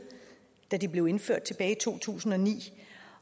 da de blev indført tilbage i to tusind og ni